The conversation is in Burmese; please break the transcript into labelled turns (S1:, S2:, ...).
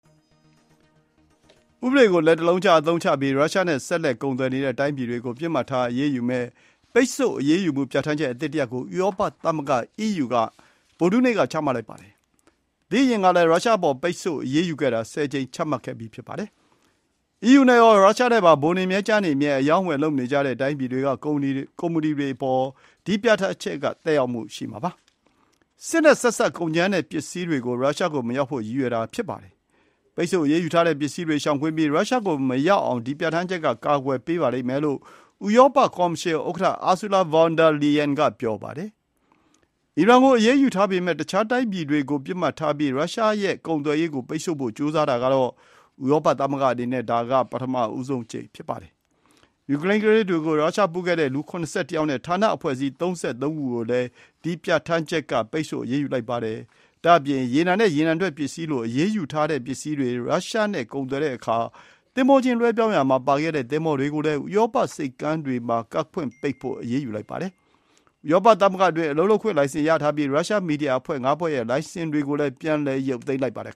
S1: ဥပဒေကို လက်တစ်လုံးခြားအသုံးချပြီး ရုရှားနဲ့ဆက်လက်ကုန်သွယ်နေတဲ့တိုင်းပြည်တွေကို ပစ်မှတ်ထားအရေးယူမယ့် ပိတ်ဆို့အရေးမှုပြဌာန်းချက်အသစ်တစ်ရပ်ကို ဥရောပသမဂ္ဂ (အီးယူ) က ဗုဒ္ဓဟူးနေ့မှာ ချမှတ်လိုက်ပါတယ်။ အရင်တုန်းကလည်း ရုရှားအပေါ် ပိတ်ဆို့ အရေးယူတာ ဆယ်ကြိမ် ချမှတ်ခဲ့ပြီးဖြစ်ပါတယ်။ အီးယူနဲ့ရော ရုရှားနဲ့ပါ ပိုနေမြဲ ကျားနေကြမြဲ အရောင်းအဝယ်လုပ်နေကြတဲ့တိုင်းပြည်တွေကကုမ္ပဏီတွေ အပေါ် ဒီပြဌာန်းချက်က သက်ရောက်မှုရှိမှာပါ။ စစ်နဲ့ဆက်စပ်ကုန်ကြမ်းနဲ့ပစ္စည်းတွေ ရုရှားကိုမရောက်ဖို့ ရည်ရွယ်တာဖြစ်ပါတယ်။ ပိတ်ဆို့အရေးယူထားတဲ့ ပစ္စည်းတွေရှောင်ကွင်းပြီးရုရှားကို မရောက်အောင် ဒီပြဌာန်းချက်က ကာကွယ်ပေး လိမ့်မယ်လို့ဥရောပ ကော်မရှင် ဥက္ကဌ Ursula von der Leyen ကပြောပါတယ်။ အီရန်ကိုအရေးယူထားပေ မဲ့တခြားတိုင်းပြည်တွေကို ပစ်မှတ်ထားပြီးရုရှားရဲ့ ကုန်သွယ်ရေးကို ပိတ်ဆို့ဖို့ ကြိုးစားတာကတော့ ဥရောပ သမဂ္ဂအနေနဲ့ ဒါဟာပထမဆုံးအကြိမ် ဖြစ်ပါတယ်။ ယူကရိန်းကကလေးတွေကို ရုရှားပို့ခဲ့တဲ့ လူ ၇၁ ယောက်နဲ့ ဌာနအဖွဲ့အစည်း ၃၃ ခုကိုလည်း ဒီ ပြဌာန်းချက် က ပိတ်ဆို့အရေးယူလိုက်ပါတယ်။ ဒါ့အပြင် ရေနံနဲ့ ရေနံထွက်ပစ္စည်းလို အရေးယူထားတဲ့ ပစ္စည်းတွေ ရုရှား နဲ့ ကုန်သွယ်တဲ့အခါ သင်္ဘောချင်း လွှဲပြောင်းရာမှာပါဝင်ခဲ့တဲ့ သင်္ဘောတွေကိုလည်း ဥရောပဆိပ်ကမ်းတွေ မှာ ကမ်းကပ်ခွင့် ပိတ်ဖို့ အရေးယူလိုက်ပါတယ်။ ဥရောပသမဂ္ဂအတွင်း အလုပ်လုပ်ခွင့် လိုင်စင် ရထားပြီး ရုရှား မီဒီယာ အဖွဲ့ငါးဖွဲ့ ရဲ့ လိုင်စင်တွေ ကိုလည်း ပြန်လည် ရုပ်သိမ်းလိုက်ပါတယ်